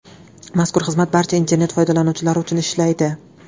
Mazkur xizmat barcha internet foydalanuvchilari uchun ishlaydi.